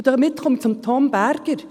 Und damit komme ich zu Tom Berger.